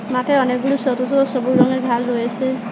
মাঠে অনেকগুলো ছোট ছোট সবুজ রঙের ঘাল রয়েছে।